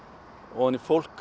ofan í fólk